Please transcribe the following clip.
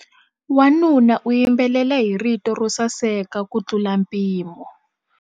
Wanuna u yimbelela hi rito ro saseka kutlula mpimo.